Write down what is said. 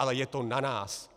Ale je to na nás.